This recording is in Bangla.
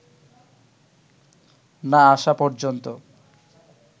না আসা পর্যন্ত